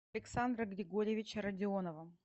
александра григорьевича родионова